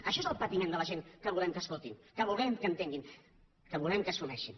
això és el patiment de la gent que volem que escoltin que volem que entenguin que volem que assumeixin